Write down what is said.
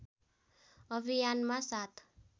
अभियानमा साथ